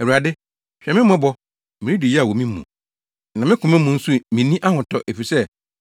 “Awurade, hwɛ me mmɔbɔ! Meredi yaw wɔ me mu, na me koma mu nso minni ahotɔ, efisɛ